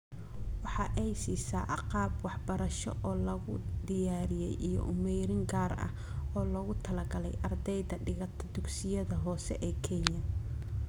Waxa ay siisaa agab waxbarasho oo la diyaariyey iyo umeerin gaar ah oo loogu talagalay ardayda dhigata dugsiyada hoose ee Kenya.